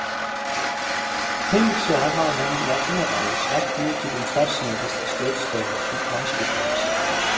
Hins vegar hafa menn í aldanna rás lært mikið um starfsemi þessarar stjórnstöðvar mannslíkamans.